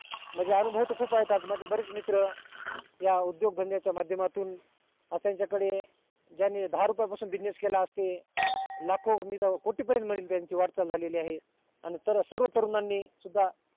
म्हणजे अनुभव त खूप आहेत आज माझे बरेच मित्र या उदोग धंद्या च्या माध्य मातुन आज त्याच्या कडे ज्यांनी दहा रुपये पासून business केला त्यानी आज ते लाखो कोटीपर्यंत म्हणजे त्याची वाटचाल झालेली आहे अन सर्व तरुणांनी सुद्धा